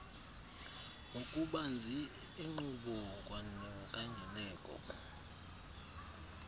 ngokubanzi enkqubo kwanenkangeleko